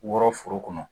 Wɔrɔ foro kɔnɔ